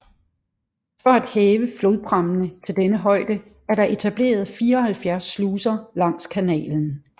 For at hæve flodprammene til denne højde er der etableret 74 sluser langs kanalen